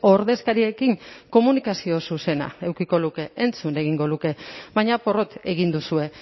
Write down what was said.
ordezkariekin komunikazio zuzena edukiko luke entzun egingo luke baina porrot egin duzue